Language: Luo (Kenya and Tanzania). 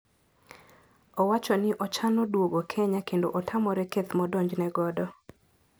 Owachoni ochano duogo Kenya kendo otamore keth modonjne godo.